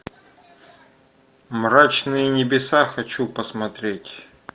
мрачные небеса хочу посмотреть